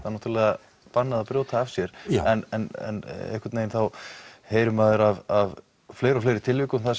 er náttúrulega bannað að brjóta af sér en einhvern veginn þá heyrir maður af fleiri og fleiri tilvikum þar